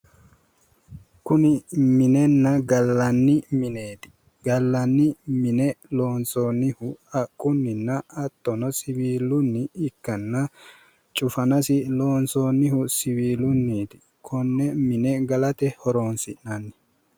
Kuni minenna gallanni mineeti. Gallanni mine loonsoonnihu haqqunnina hattono siwiilunni ikkanna cufanasi loonsoonnihu siwiilunniiti. Konne mine galate horonsi'nanni.